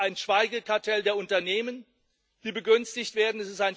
Es ist ein Schweigekartell der Unternehmen, die begünstigt werden.